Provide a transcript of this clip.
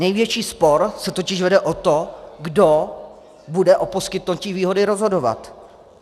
Největší spor se totiž vede o to, kdo bude o poskytnutí výhody rozhodovat.